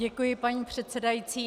Děkuji, paní předsedající.